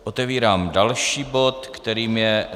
Otevírám další bod, kterým je